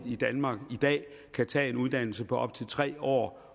i danmark i dag kan tage en uddannelse på op til tre år